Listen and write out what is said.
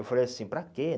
Eu falei assim, para quê?